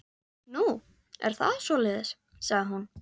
Nú, er það svoleiðis, sagði hún.